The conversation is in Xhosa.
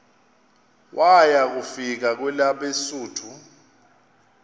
waya kufika kwelabesuthu